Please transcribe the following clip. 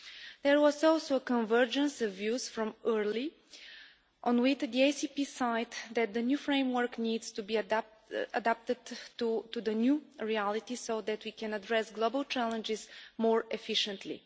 There was also a convergence of views from early on with the ACP side that the new framework needs to be adapted to the new reality so that we can address global challenges more efficiently.